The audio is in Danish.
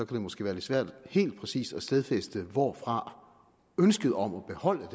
det måske være lidt svært helt præcis at stadfæste hvorfra ønsket om at beholde